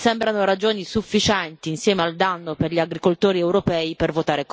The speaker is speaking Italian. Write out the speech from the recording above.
Mi sembrano ragioni sufficienti, insieme al danno per gli agricoltori europei, per votare contro.